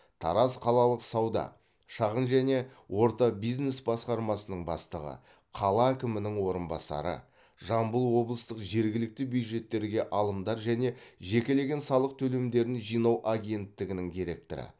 тараз қалалық сауда шағын және орта бизнес басқармасының бастығы қала әкімінің орынбасары жамбыл облыстық жергілікті бюджеттерге алымдар және жекелеген салық төлемдерін жинау агенттігінің директоры